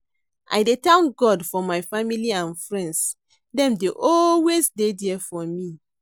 I dey thank God for my family and friends, dem dey always dey there for me.